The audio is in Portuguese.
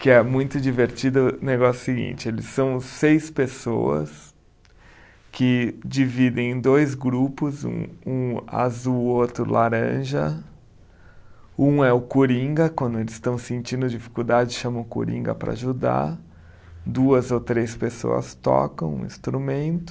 Que é muito divertido, o negócio é o seguinte, eles são seis pessoas que dividem em dois grupos, um um azul, outro laranja, um é o coringa, quando eles estão sentindo dificuldade, chama o coringa para ajudar, duas ou três pessoas tocam o instrumento,